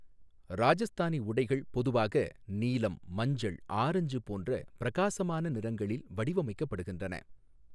ராஜஸ்தானி உடைகள் பொதுவாக நீலம், மஞ்சள், ஆரஞ்சு போன்ற பிரகாசமான நிறங்களில் வடிவமைக்கப்படுகின்றன.